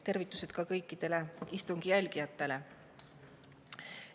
Tervitused ka kõikidele istungi jälgijatele!